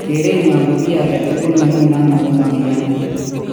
Kerenyo ko kit angetugul neu nano komakinyani